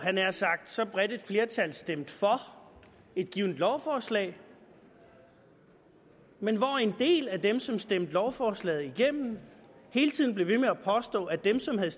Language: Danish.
jeg nær sagt så bredt et flertal stemte for et givet lovforslag men hvor en del af dem som stemte lovforslaget igennem hele tiden blev ved med at påstå at dem som havde